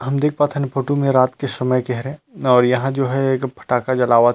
हम देख पाथन ए फोटू में रात के समय के हरे और यहाँ जो हैं एक फटाका जलावथ।